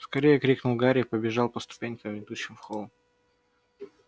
скорее крикнул гарри и побежал по ступенькам ведущим в холл